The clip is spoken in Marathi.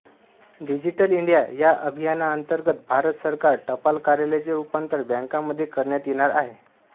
डिजिटल इंडिया या अभियानांतर्गत भारत सरकार टपाल कार्यालयांचे रूपांतर बँकांमध्ये करण्यात येणार आहे